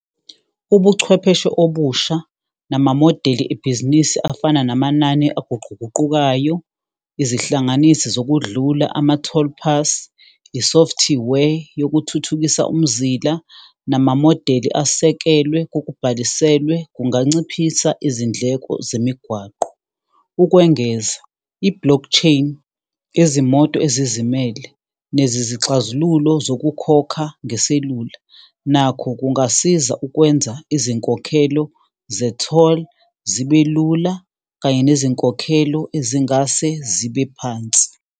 Ubuchwepheshe obusha namamodeli ebhizinisi afana namanani eguquguqukayo, izihlanganisi zokudlula, ama-toll pass, i-software yokuthuthukisa umzila namamodeli asekelwe kokubhaliselwe, kunganciphisa izindleko zemigwaqo. Ukwengeza, i-blockchain yezimoto ezizimele nezixazululo zokukhokha ngeselula, nakho kungasiza ukwenza izinkokhelo ze-toll zibe lula kanye nezinkokhelo ezingase zibe phansi.